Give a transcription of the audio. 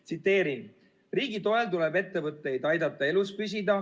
Tsiteerin: "Riigi toel tuleb ettevõtteid aidata elus püsida.